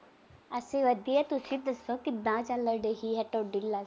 ਅਸੀਂ ਵਧੀਆ ਤੁਸੀਂ ਦੱਸੋ ਕਿਵੇਂ ਚਲ ਰਹੀ ਆ ਤੁਹਾਡੀ life